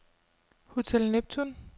Hotel Neptun